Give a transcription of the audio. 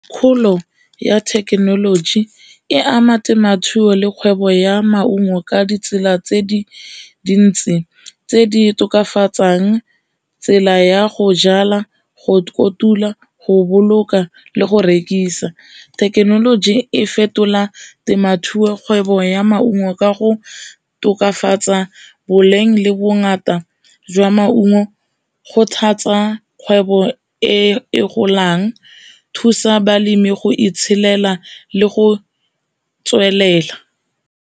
Kgolo ya thekenoloji e ama temothuo le kgwebo ya maungo ka ditsela tse di dintsi tse di tokafatsang tsela ya go jala, go kotula go boloka le go rekisa. Thekenoloji e fetola temothuo kgwebo ya maungo ka go tokafatsa boleng le bongata jwa maungo go kgothatsa kgwebo e golang, thusa balemi go itshelela le go tswelela.